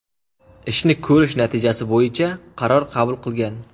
ishni ko‘rish natijasi bo‘yicha qaror qabul qilgan.